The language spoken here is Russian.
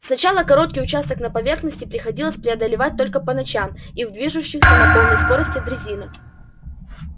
сначала короткий участок на поверхности приходилось преодолевать только по ночам и в движущихся на полной скорости дрезинах